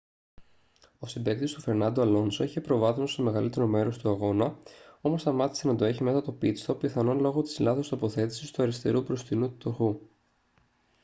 ο συμπαίκτης του φερνάντο αλόνσο είχε προβάδισμα στο μεγαλύτερο μέρος του αγώνα όμως σταμάτησε να το έχει μετά το pit-stop πιθανόν λόγω της λάθος τοποθέτησης του αριστερού μπροστινού τροχού